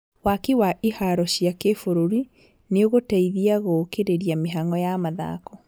Waki wa iharo cia kĩbũrũri nĩũgũteithia gũkĩrĩria mĩhang'o ya mathako